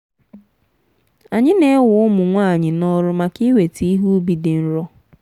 anyị na-ewe ụmụ nwanyị n'ọrụ maka iweta ihe ubi dị nro.